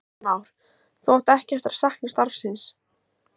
Heimir Már: Þú átt ekki eftir að sakna starfsins?